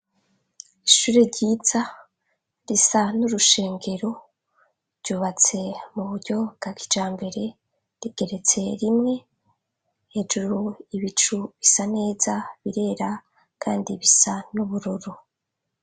ishure ryiza risa n'urushengero ryubatse mu buryo bwakizambere rikeretse rimwe hejuru ibicu bisa neza birera kandi bisa nubururu